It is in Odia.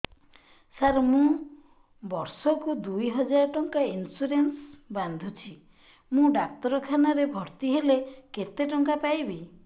ସାର ମୁ ବର୍ଷ କୁ ଦୁଇ ହଜାର ଟଙ୍କା ଇନ୍ସୁରେନ୍ସ ବାନ୍ଧୁଛି ମୁ ଡାକ୍ତରଖାନା ରେ ଭର୍ତ୍ତିହେଲେ କେତେଟଙ୍କା ପାଇବି